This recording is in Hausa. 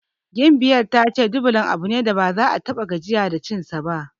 Gimbiyar ta yi ce Dublan abu ne da baza ta ta6a gajiya da cinsa ba.